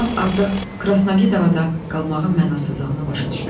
Romass artıq Krasnovodada qalmağın mənasızlığını başa düşürdü.